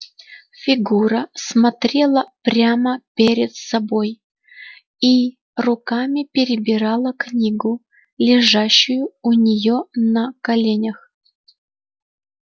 фигура смотрела прямо перед собой и руками перебирала книгу лежащую у неё на коленях